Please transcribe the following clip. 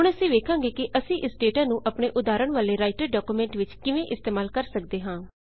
ਹੁਣ ਅਸੀਂ ਵੇਖਾਂਗੇ ਕਿ ਅਸੀਂ ਇਸ ਡੇਟਾ ਨੂੰ ਆਪਣੇ ਉਦਾਹਰਣ ਵਾਲੇ ਰਾਈਟਰ ਡਾਕੂਮੈਂਟ ਵਿੱਚ ਕਿਵੇਂ ਇਸਤੇਮਾਲ ਕਰ ਸੱਕਦੇ ਹਾਂ